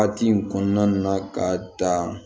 Waati in kɔnɔna na ka dan